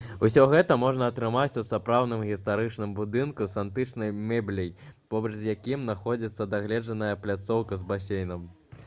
усё гэта можа атрымаць у старадаўнім гістарычным будынку з антычнай мэбляй побач з якім знаходзіцца дагледжаная пляцоўка з басейнам